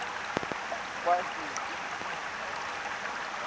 spicy gochujang based